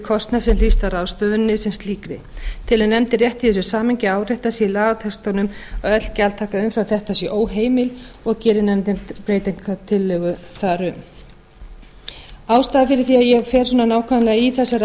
kostnað sem hlýst af ráðstöfuninni sem slíkri telur nefndin rétt í þessu samhengi að áréttað sé í lagatextanum að öll gjaldtaka umfram þetta sé óheimil og gerir nefndin breytingartillögu þar um og geri nefndin breytingartillögu þar um ástæðan fyrir því að ég fer svona nákvæmlega í þessar